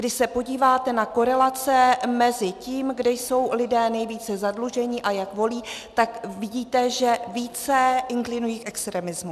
Když se podíváte na korelace mezi tím, kde jsou lidé nejvíce zadluženi, a jak volí, tak vidíte, že více inklinují k extremismu.